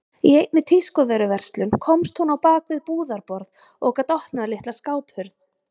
Í einni tískuvöruverslun komst hún á bak við búðarborð og gat opnað litla skáphurð.